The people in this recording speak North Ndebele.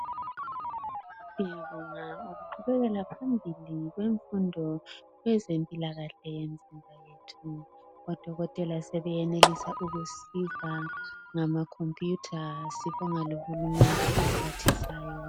Ngyabonga ukuqhubekela phambili kwemfundo yezempilakahle yemizimba yethu odokotela sebesenelisa ukusiza ngama computer sibonga lohulumende ophathisayo .